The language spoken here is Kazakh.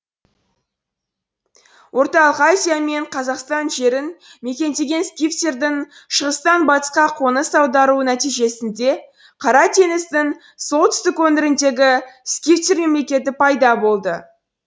орталық азия мен қазақстан жерін мекендеген скифтердің шығыстан батысқа қоныс аударуы нәтижесінде қара теңіздің солтүстік өңіріндегі скифтер мемлекеті пайда болды